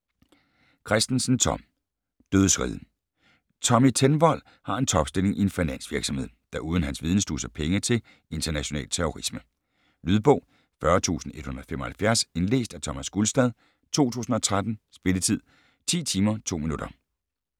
Kristensen, Tom: Dødsriget Tommy Tenvold har en topstilling i en finansvirksomhed, der uden hans viden sluser penge til international terrorisme. Lydbog 40175 Indlæst af Thomas Gulstad , 2013. Spilletid: 10 timer, 2 minutter.